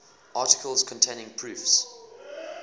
articles containing proofs